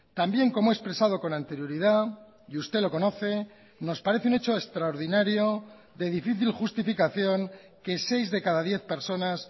también como he expresado con anterioridad y usted lo conoce nos parece un hecho extraordinario de difícil justificación que seis de cada diez personas